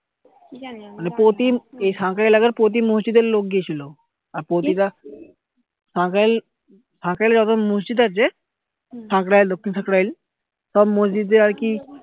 মানে প্রতি এই সাঁকরাইল এলাকার প্রতি মসজিদ এর লোক গিয়েছিলো আর প্রতি টা সাঁকরাইল সাঁকরাইল এলাকা তে যত মসজিদ আছে সাঁকরাইল দক্ষিণ সাঁকরাইল সব মসজিদের আর কি